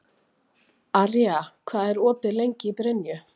Arja, hvað er opið lengi í Brynju?